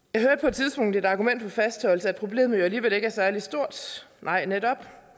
jeg det argument for fastholdelse at problemet jo alligevel ikke er særlig stort nej netop